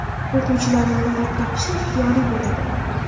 O‘quvchilarning niqob taqishi ixtiyoriy bo‘ladi.